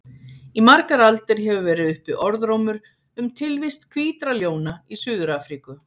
Í margar aldir hefur verið uppi orðrómur um tilvist hvítra ljóna í Suður-Afríku.